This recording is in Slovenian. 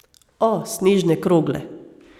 O, snežne krogle.